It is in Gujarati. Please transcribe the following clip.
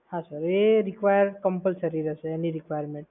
હા સર, એ require compulsory રહેશે. એની requirement